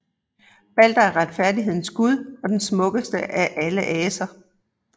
Balder er retfærdighedens gud og den smukkeste af alle aser